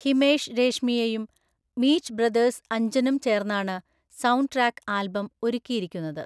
ഹിമേഷ് രേഷമ്മിയയും മീറ്റ് ബ്രദേഴ്സ് അഞ്ജനും ചേർന്നാണ് സൌണ്ട് ട്രാക്ക് ആൽബം ഒരുക്കിയിരിക്കുന്നത്.